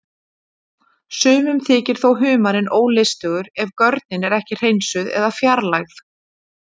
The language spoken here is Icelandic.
Sumum þykir þó humarinn ólystugur ef görnin er ekki hreinsuð eða fjarlægð.